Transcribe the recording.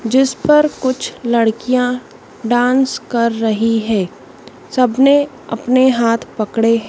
जिस पर कुछ लड़कियां डांस कर रही है सबने अपने हाथ पकड़े--